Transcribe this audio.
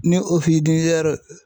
Ni